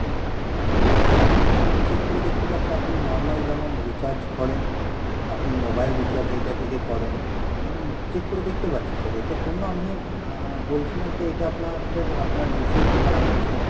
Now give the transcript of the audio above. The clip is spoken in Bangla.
হ্যাঁ আপনি আমি check করে দেখতে পাচ্ছি আপনি normal যেমন recharge করেন আপনি mobile recharge এইটা থেকে করেন আপনি check করে দেখতে পাচ্ছি sir এতে কোনো আমি আহ বলেছি না যে এইটা আপনার sir আপনার usage খারাপ আছে